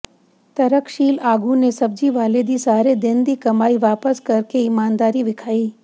ਤਰਕਸ਼ੀਲ ਆਗੂ ਨੇ ਸਬਜ਼ੀ ਵਾਲੇ ਦੀ ਸਾਰੇ ਦਿਨ ਦੀ ਕਮਾਈ ਵਾਪਸ ਕਰ ਕੇ ਇਮਾਨਦਾਰੀ ਵਿਖਾਈ